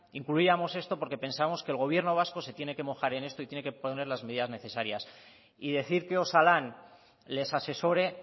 incluíamos esto porque pensamos que el gobierno vasco se tiene que mojar en esto y tiene que poner las medidas necesarias y decir que osalan les asesore